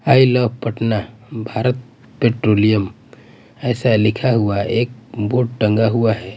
आई love Patna Bharat petroleum ऐसा लिखा हुआ हैं एक बोर्ड टंगा हुआ हैं।